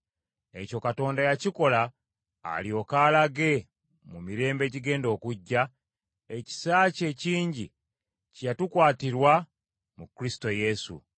Ekyo Katonda yakikola alyoke alage, mu mirembe egigenda okujja, ekisa kye ekingi kye yatukwatirwa mu Kristo Yesu.